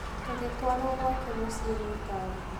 Tũgĩtwarũo gwake mũciĩ na ngari.